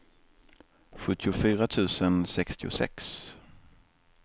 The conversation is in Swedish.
sjuttiofyra tusen sextiosex